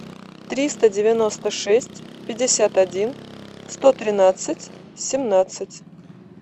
триста девяносто шесть пятьдесят один сто тринадцать семнадцать